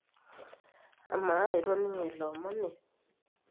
amaa itoningo ilo omoni